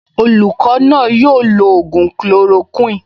Olùkọ́ náà yóò lo ògùn chloroquine